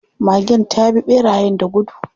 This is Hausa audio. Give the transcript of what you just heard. Magen ta bi ɓerayen da gudu.